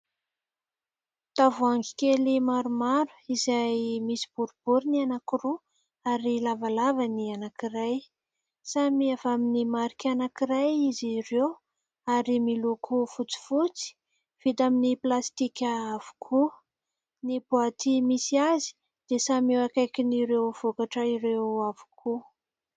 Tavoahangy kely maromaro izay misy boribory ny anankiroa ary lavalava ny anankiray. Samy avy amin'ny marika anankiray izy ireo ary miloko fotsifotsy, vita amin'ny plastika avokoa. Ny boaty misy azy dia samy eo akaikin'ireo vokatra ireo avokoa.